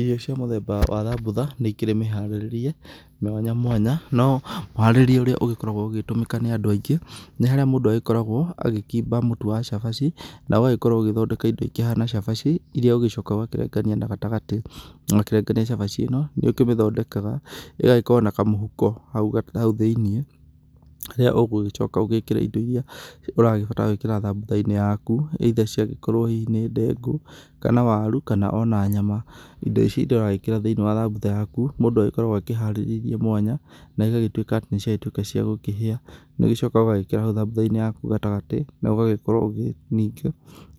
Irio cia mũthemba wa thambũtha nĩ ikĩrĩ mĩharĩrĩrie mwanya mwanya no mũharĩrĩrie ũrĩa ũgĩkoragwo ũgĩtũmĩka nĩ andũ angĩ nĩ harĩa mũndũ agĩkoragwo agĩkimba mũtũ wa cabacina ũgagĩkorwo ũgĩthondeka indo ikĩhana cabaci irĩa ũgĩcokaga ũgakĩrengania na gatagatĩ na wakĩrengania cabaci ĩno nĩ ũkĩmithondekaga ĩgagĩkorwo na kamũhũko haũ haũthĩinĩ ĩrĩa ũgũgĩcoka ũgĩkĩre indo irĩa ũragĩbatara gwĩkĩra thambũtha inĩ yakũ either cia gĩkorwo hihi nĩ ndengũ kana warũ kana ona nyama indo ici ĩrĩa ũragĩkĩra thĩinĩ wa thambũtha inĩ yakũ mũndũ agĩkoragwo akĩharĩrĩirie mwanya na ĩgagĩtwĩka atĩ nĩciagĩtwĩka cia gũkĩhĩa nĩ ũcokaga ũgagĩciĩkĩra haũ thambũtha inĩ gatagtĩ na ũgagĩkorwo ũgĩ ningĩ